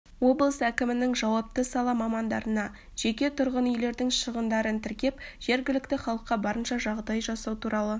облыс әкімінің жауапты сала мамандарына жеке тұрғын үйлердің шығындарын тіркеп жергілікті халыққа барынша жағдай жасау туралы